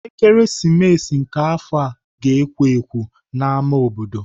Ekeresimesi nke afọ ga-ekwo ekwo n'ámá obodo.